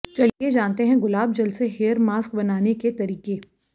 चलिए जानते हैं गुलाब जल से हेयर मास्क बनाने के तरीके